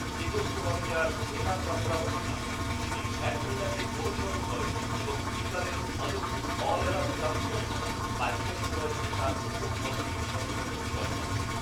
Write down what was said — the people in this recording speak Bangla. চেকোস্লোভাকিয়ার ভেরা কাসলাভস্কা, যিনি ল্যাটিনিনাকে অনুসরণ করেন এবং দুইবারের অলিম্পিক অল অ্যারাউন্ড চ্যাম্পিয়ন হন, বাইশ বছর বয়সে তাঁর প্রথম অলিম্পিক স্বর্ণপদক জয় করেন।